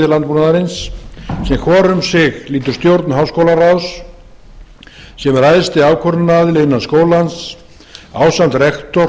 landbúnaðarins sem hvor um sig lýtur stjórn háskólaráðs sem er æðsti ákvörðunaraðili innan skólans ásamt rektor